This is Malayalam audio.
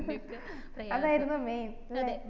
അതായിരുന്നു main ല്ലേ